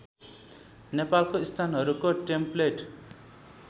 नेपालको स्थानहरूको टेम्प्लेट